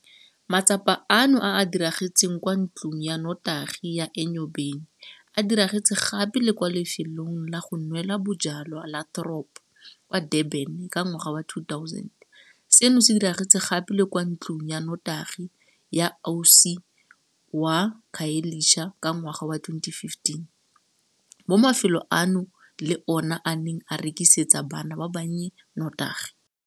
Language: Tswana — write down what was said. Matsapa ano a a diragetseng kwa ntlong ya notagi ya Enyobeni a diragetse gape le kwa lefelong la go nwela bojalwa la Throb kwa Durban ka ngwaga wa 2000, seno se diragetse gape le kwa ntlong ya notagi ya Osi kwa Khayelitsha ka ngwaga wa 2015, mo mafelo ano le ona a neng a rekisetsa bana ba bannye notagi.